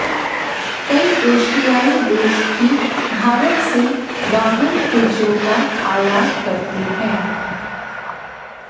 कई एशियाई देश भी भारत से वाहन पुर्जों का आयात करते हैं